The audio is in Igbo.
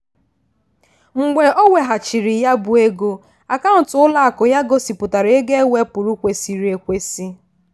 "mgbe e weghachiri ya bụ ego akaụntụ ụlọakụ ya gosipụtara ego ewepụrụ kwesịrị ekwesị"